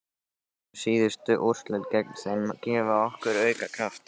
Munu síðustu úrslit gegn þeim gefa okkur auka kraft?